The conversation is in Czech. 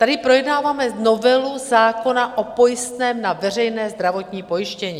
Tady projednáváme novelu zákona o pojistném na veřejné zdravotní pojištění.